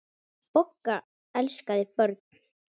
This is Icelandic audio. Bogga elskaði börn.